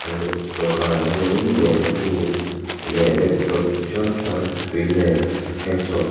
an dawhkhanah hian lehkhabu leh laptop chi hrang hrang tui nen a inchhawp--